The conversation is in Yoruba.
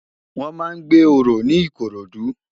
Wòn má n gbé óró ni Ikorodu